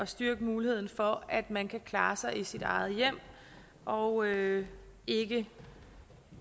styrke muligheden for at man kan klare sig i sit eget hjem og ikke ikke